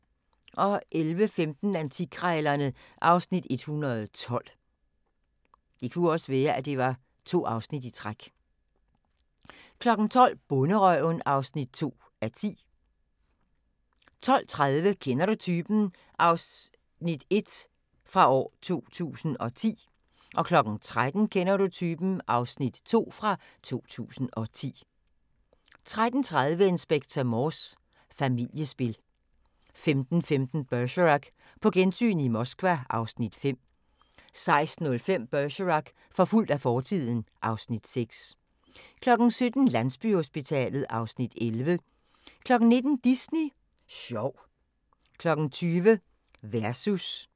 11:15: Antikkrejlerne (Afs. 112) 12:00: Bonderøven (2:10) 12:30: Kender du typen? 2010 (Afs. 1) 13:00: Kender du typen? 2010 (Afs. 2) 13:30: Inspector Morse: Familiespil 15:15: Bergerac: På gensyn i Moskva (Afs. 5) 16:05: Bergerac: Forfulgt af fortiden (Afs. 6) 17:00: Landsbyhospitalet (Afs. 11) 19:00: Disney Sjov 20:00: Versus